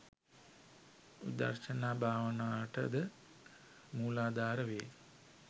විදර්ශනා භාවනාවට ද මූලාධාර වේ.